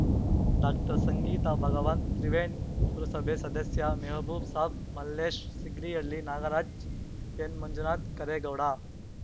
ಡಾಕ್ಟರ್ಸಂಗೀತಾಭಾಗವಂತ್‌ ತ್ರಿವೇಣ್ ಪುರಸಭೆ ಸದಸ್ಯ ಮೆಹಬೂಬ್‌ಸಾಬ್‌ ಮಲ್ಲೇಶ್‌ ಸಿಂಗ್ರಿಹಳ್ಳಿ ನಾಗರಾಜ್ ಎನ್‌ಮಂಜುನಾಥ್ ಕರೇಗೌಡ